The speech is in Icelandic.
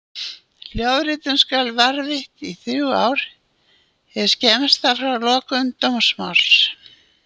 Hljóðritun skal varðveitt í þrjú ár hið skemmsta frá lokum dómsmáls.